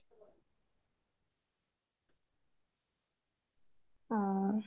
অ